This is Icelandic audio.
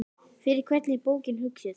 Fyrir hvern er bókin hugsuð?